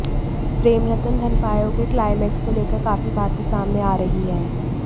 प्रेम रतन धन पायो के क्लाईमैक्स को लेकर काफी बातें सामने आ रही हैं